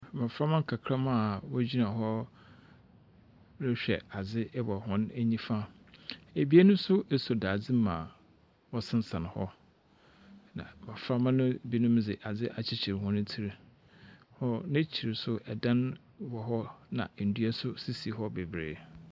Mbɔframa nkakramba a wɔgyina hɔ rehwɛ adze wɔ hɔn nifa. Ebien nso asɔ dadze mu a wɔsensɛn hɔ, na mbɔfamba no bi de adze akyekyer hɔn tsir. Wɔ n'ekyir nso dan wɔ hɔ na ndua nso sisi hɔ bebree.